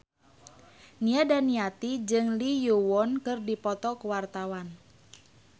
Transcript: Nia Daniati jeung Lee Yo Won keur dipoto ku wartawan